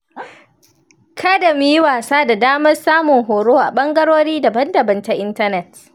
Kada mu yi wasa da damar samun horo a ɓagarori daban-daban ta intanet